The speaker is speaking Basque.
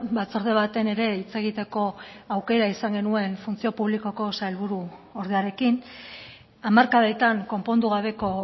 batzorde baten ere hitz egiteko aukera izan genuen funtzio publikoko sailburuordearekin hamarkadetan konpondu gabeko